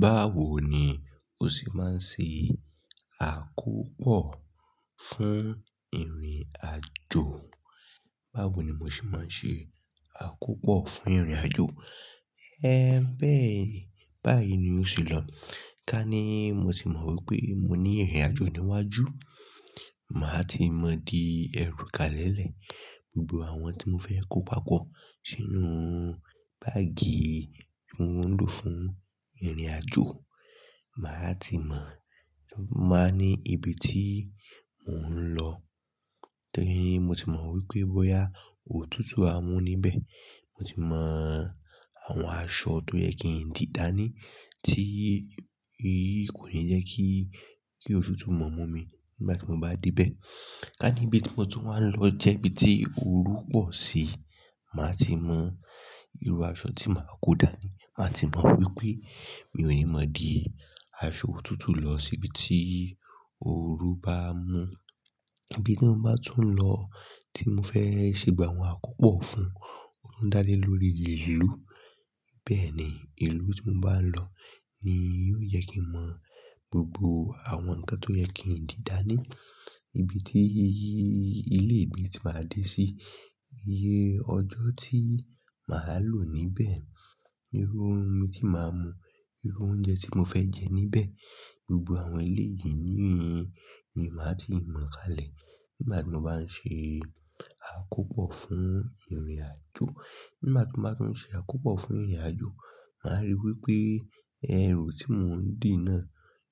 Báwo ni ó sì máa ń ṣe àkópọ̀ fún ìrìn àjò? Báwo ni mo sì máa ń ṣe àkópọ̀ fún ìrìn àjò? Ẹ ń bẹ́ẹ̀ ní, báyìí ni ó sì lọ. Ká ní mo ti mọ wípé mo ní ìrìn àjò níwájú, màá ti mọ di ẹrúkalẹ́lẹ̀ gbogbo àwọn tí mo fẹ́ kó pàpọ́ sínú báàgì tí mòún lò fún ìrìn àjò. Màá ti mọ̀, màá ní ibi tí mòún lọ torí mo ti mọ wípé bóyá òtútù a mú níbẹ̀. Mo ti mọ àwọn aṣọ tó yẹ kí n dìdání tí kò yẹ kí, kí òtútù mọ̀ mú mi nígbà tí mo bá dé bẹ̀. Ká ní ibi tí mo tún wá ń lọ jẹ́ ibi tí orú pọ̀ sí, màá ti mọ irú aṣọ tí màá kó dání. Màá ti mọ wípé mi ò ní mọ di aṣọ òtútù lọ sí ibi tí orú bá mú. Ibi tí mo bá tún lọ tí mo fẹ́ ṣe gba àwọn àkópọ̀ fún, ó ń dá lé lórí ìlú. Bẹ́ẹ̀ ni, ìlú tí mo bá ń lọ ni yóò yẹ kí n mọ gbogbo àwọn nǹkan tó yẹ kí n dìdání. Ibi tí ilé ìgbé ti máa dé sí, iye ọjọ́ tí màá lò níbẹ̀, irú omi tí màá mu, irú oúnjẹ tí mo fẹ́ jẹ níbẹ̀. Gbogbo àwọn eléyìí ni màá ti mọ̀ kalẹ̀ nígbà tí mo bá ń ṣe àkópọ̀ fún ìrìn àjò. Nígbà tí mo bá tún ṣe àkópọ̀ fún ìrìn àjò, màá rí wípé ẹrù tí mòún dì náà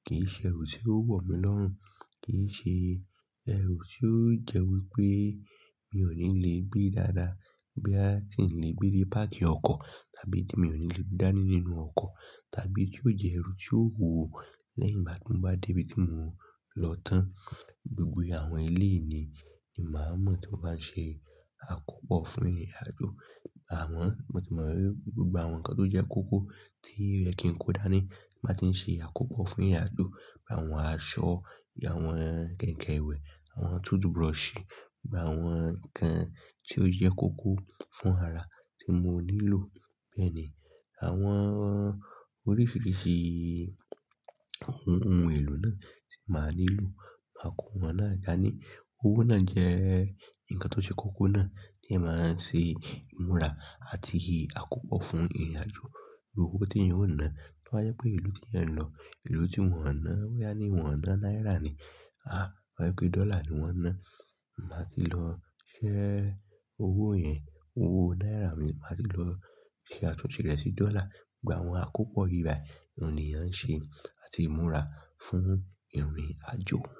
kì í ṣe ẹrù tí ó wọ̀ mí lọ́rùn, kì í ṣe ẹrù tí ó jẹ́ wípé mi ò ní le gbé dáadáa. Bí a ti ń le gbé dé pákì ọkọ̀ tàbí di mi ò ní le dání nínú ọkọ̀, tàbí tí ó jẹ́ ẹrù tí ó wuwò lẹ́yìn igbá ti ń bá dé ibi tí mòún lọ tán. Gbogbo ìyẹn àwọn eléyìí ni màá mọ̀ tí mò máa ń ṣe àkópọ̀ fún ìrìn àjò. Àmo, mo ti mọ wípé gbogbo àwọn nǹkan tó jẹ́ kókó tí yẹ kí n kó dání tí màá ti ń ṣe àkópọ̀ fún ìrìn àjò. Awọn aṣọ, bi àwọn kenke ìwẹ̀, àwọn toothbrush, bi àwọn nǹkan tí ó jẹ́ kókó fún ara tí mò nílò. Bẹ́ẹ̀ ni àwọn oríṣiríṣi ohun èlò náà tí màá nílò, máa kó wọn náà dàní. Owó náà jẹ́ nǹkan tó ṣe kókó náà tí ẹyan bá ń ṣe ìmúra àti àkópọ̀ fún ìrìn àjò. Gbogbo owó tí eniyan ó ná. Tó bá je pé ìlú tí eyan ń lọ, ìlú tí wọ́n ò ná, bọ́ya ní wọ́n ò ná náírà ni. Àá, tó bà jé pé dọ́là ni wọ́n ná. Màá ti lọ ṣẹ́ owó yẹn, owó náírà mi, màá ti lọ ṣe àtúnṣe rẹ̀ sí dọ́là. Gbogbo àwọn àkópọ̀ ìbá ẹni eyan ṣe àti ìmúra fún ìrìn àjò.